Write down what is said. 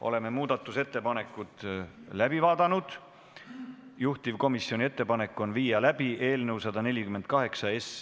Oleme muudatusettepanekud läbi vaadanud, juhtivkomisjoni ettepanek on viia läbi eelnõu ...